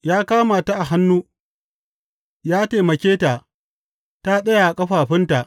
Ya kama ta a hannu ya taimake ta ta tsaya a ƙafafunta.